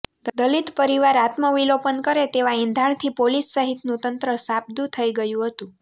દલિત પરીવાર આત્મવિલોપન કરે તેવા એંધાણથી પોલીસ સહિતનું તંત્ર સાબદુ થઈ ગયુ હતુ